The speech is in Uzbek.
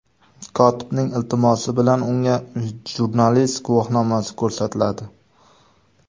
Kotibning iltimosi bilan unga jurnalist guvohnomasi ko‘rsatiladi.